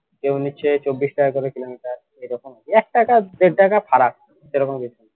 কেউ নিচ্ছে চব্বিশ টাকা করে কিলোমিটার এরকম একটাকা দেড়টাকে ফারাক এরকম কিছু